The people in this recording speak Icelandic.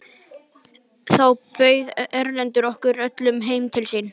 Þá bauð Erlendur okkur öllum heim til sín.